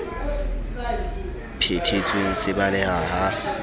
phe thetsweng se baleha ha